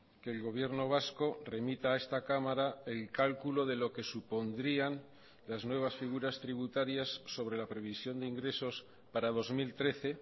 que el gobierno vasco remita a esta cámara el cálculo de lo que supondrían las nuevas figuras tributarias sobre la previsión de ingresos para dos mil trece